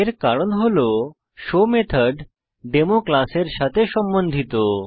এর কারণ হল শো মেথড ডেমো ক্লাসের সাথে সম্বন্ধিত